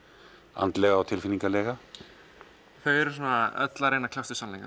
andlega og tilfinningalega þau eru öll að reyna að kljást við sannleikann